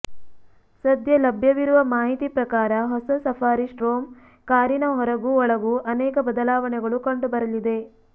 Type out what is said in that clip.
ಸದ್ಯ ಲಭ್ಯವಿರುವ ಮಾಹಿತಿ ಪ್ರಕಾರ ಹೊಸ ಸಫಾರಿ ಸ್ಟ್ರೋಮ್ ಕಾರಿನ ಹೊರಗೂ ಒಳಗೂ ಅನೇಕ ಬದಲಾವಣೆಗಳು ಕಂಡುಬರಲಿದೆ